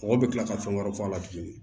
Mɔgɔ bɛ tila ka fɛn wɛrɛ fɔ a la tuguni